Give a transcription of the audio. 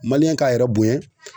k'a yɛrɛ bonyɛn.